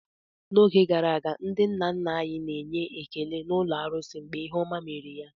N'oge gara aga, ndị nna nna anyị na-enye ekele n'ụlọ arusi mgbe ihe ọma mere ha.